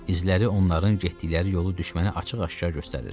İzləri onların getdikləri yolu düşmənə açıq-aşkar göstərir.